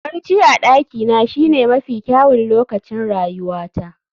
Barci a dakina shine mafi kyawun lokacin rayuwata